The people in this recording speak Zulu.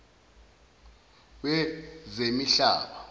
wezemihlaba